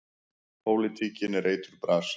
Pólitíkin er eiturbras.